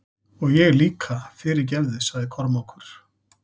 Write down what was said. Og ég líka, fyrirgefðu, sagði Kormákur.